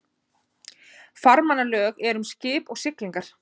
Farmannalög eru um skip og siglingar.